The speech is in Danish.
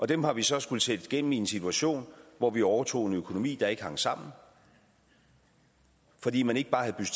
dem har vi så skullet sætte igennem i en situation hvor vi overtog en økonomi der ikke hang sammen fordi man ikke bare havde